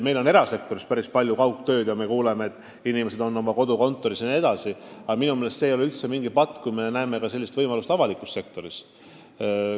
Meil on erasektoris päris palju kaugtööd ja eks me ikka kuule, et inimesed töötavad oma kodukontoris, aga minu meelest see ei ole üldse mingi patt, kui pakume sellist võimalust avalikus sektoris.